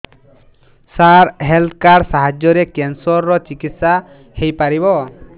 ସାର health card ସାହାଯ୍ୟରେ cancer ର ଚିକିତ୍ସା ହେଇପାରିବ